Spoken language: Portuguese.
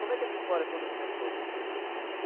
Como é que essa história toda começou?